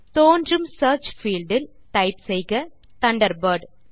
தோன்றும் search field இல் type செய்க தண்டர்பர்ட்